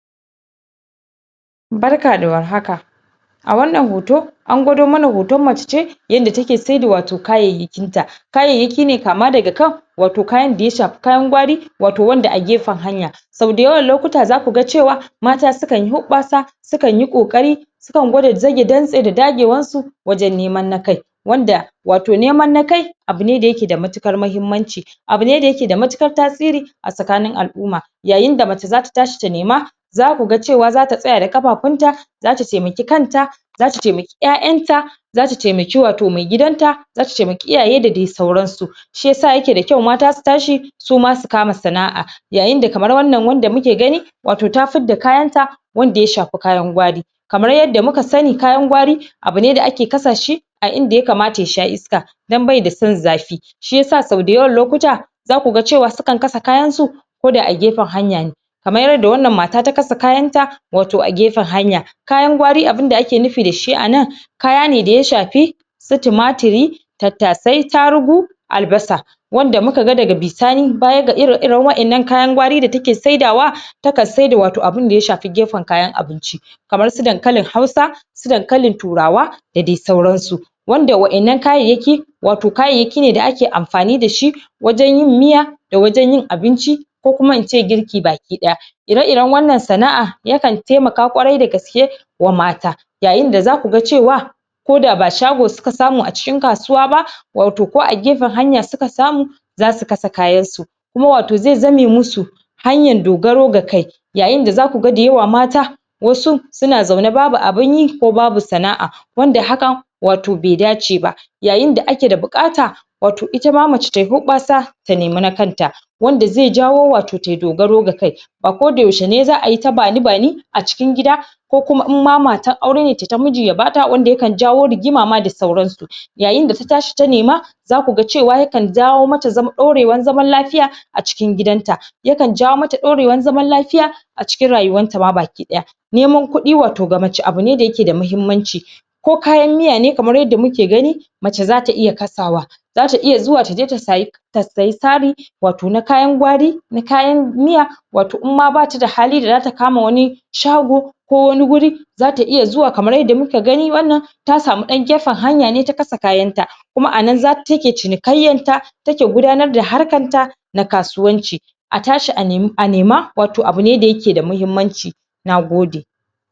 Barka da war haka a wannan hoto an gwado mana hoton mace ce yanda take saida wato kayayyakin ta kayayyaki ne kama daga kan wato kayan da ya shafi kayan gwari wato wanda a gefen hanya so dayawan lokuta zaku ga cewa mata su kan yi hubbasa su kan yi kokari sun kan gwada zage dagewan su wajan neman na kai wanda wato ne man kai abune da yake da matukar mahimmanci abune da yake da matukar tasiri a tsakanin al'umma yayin da mace zata tashi ta nema zaku ga cewa zata tsaya da kafafun ta zata taimake kanta zata taimake 'ya'yan ta zata taimake wato maigidanta zata taimake iyaye da dai sauran su shiyasa yake da kyau mata su tashi suma su neme sana'a yayin da kamar wannan wanda muke gani wato ta fidda kayan ta wanda ya shafi kayan gwari kamar yadda muka sani kayan gwari abune da ake kasa shi yayin da yakamata ya sha iska dan baida son zafi shiyasa so dayawan lokuta zaku ga cewa su kan kasa kayan su ko da a gefen hanya ne kamar yanda wannan mata ta kasa kayan ta wato a gefen hanya kayan gwari abun da ake nufi da shi a nan kaya ne da ya shafi su tumatiri tattasai tarugu albasa wanda muka ga daga bisanibaya ga ire iren wa'ennan kayan gwari da take saidawa ta kan saida wato abun da ya shafi gefen kayan abinci kamar su dankalin hausa su dankalin turawa da dai sauran su wanda wa'ennan kayayyaki wato kayayyaki ne da ake amfani dashi wajen yin miya da wajen yin abinci ko kuma ince girki baki daya ire iren wannan sana'a yakan taimaka kwarai dagaske wa mata yayin da zaku ga cewa koda ba shago suka samu a cikin kasuwa ba wato ko a gefen hanya suka samu zasu kasa kayan su kuma wato zai zame musu hanyan dogaro ga kai yayin da zaku ga dayawa mata wasu suna zaune babu abin yi kuma babu sana'a wanad hakan wato bai dace ba yayin da ake da bukata wato ita ma mace tayi hubbasa ta nema na kan ta wanda zai jawo wato tayi dogaro ga kai a koda yaushe za'ayi ta bani bani cikin gida ko kuma in ma matan aure ne tayi ta miji ya bata wanda yakan jawo rigima da sauran su yayi da ta tashi ta nema zaku ga yakan jawo mata dorewan zaman lafiya a cikin gidan ta yakan jawo mata dorewan zaman lafiya a cikin rayuwan ta ma baki daya neman kudi wato ga mace abune da yake da mahimmanci ko kayan miya ne kamar yadda muke gani mace zata iya kasa wa zata iya zuwa taje ta sayi tsari wato na kayan gwari na kayan miya wato in ma bata da hali da zata kama wani shago ko wani guri zata iya zuwa kamar yadda muka gani wannan ta samu dan gefen hanya ta kasa kayan ta kuma a nan take cinikayyan ta take gudanar da harkan ta da kasuwanci a tashi a nema wato abune da yake da mahimmanci nagode